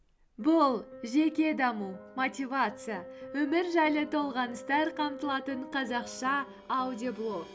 бұл жеке даму мотивация өмір жайлы толғаныстар қамтылатын қазақша аудиоблог